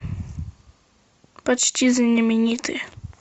почти знамениты